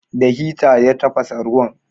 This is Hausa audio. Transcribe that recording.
Da hita ya tafasa ruwan.